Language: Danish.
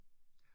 Ja